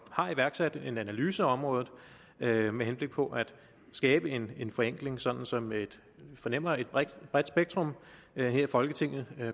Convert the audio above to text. har iværksat en analyse af området med med henblik på at skabe en en forenkling sådan som vi fornemmer at et bredt spektrum her i folketinget